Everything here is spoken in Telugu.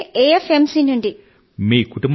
వీలయితే ఎఎఫ్ ఎమ్ సి నుండి